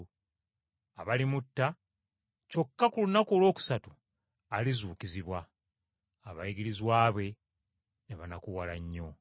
abalimutta, kyokka ku lunaku olwokusatu alizuukizibwa.” Abayigirizwa be ne banakuwala nnyo.